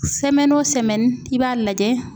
i b'a lajɛ